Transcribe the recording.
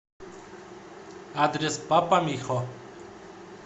адрес папа михо